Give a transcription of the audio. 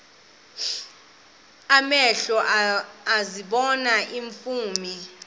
amehlo ezibona iimfundiso